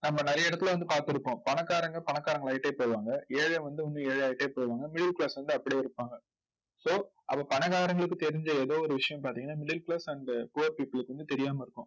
நம்ம நிறைய இடத்துல வந்து பார்த்திருப்போம். பணக்காரங்க பணக்காரங்களாயிட்டே போவாங்க. ஏழை வந்து இன்னும் ஏழையாயிட்டே போவாங்க middle class வந்து அப்படியே இருப்பாங்க so அப்ப பணக்காரங்களுக்கு தெரிஞ்ச ஏதோ ஒரு விஷயம் பார்த்தீங்கன்னா middle class and poor people க்கு வந்து தெரியாம இருக்கும்